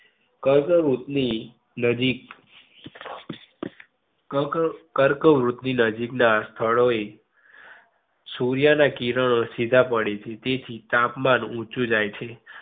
કર્કવૃત ની નજીક કર્ક ~કૈંકવ્રુત ની નજીક ના સ્થળો એ સૂર્ય ના કિરણો સીધા પડે છે. તેથી તાપમાન ઉંચુ જય છે.